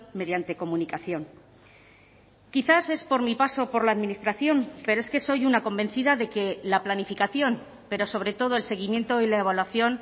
mediante comunicación quizás es por mi paso por la administración pero es que soy una convencida de que la planificación pero sobre todo el seguimiento y la evaluación